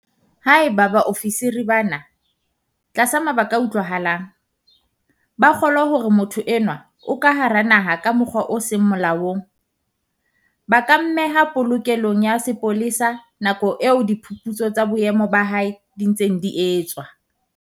Haeba baofisiri bana, tlasa mabaka a utlwahalang, ba kgolwa hore motho enwa o ka hara naha ka mokgwa o seng molaong, ba ka mmeha polokelong ya sepolesa nakong eo diphuputso tsa boemo ba hae di ntseng di etswa.